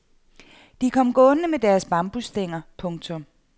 De kom gående med deres bambusstænger. punktum